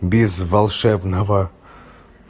без волшебного